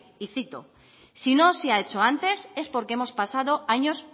y cito si no se ha hecho antes es porque hemos pasado años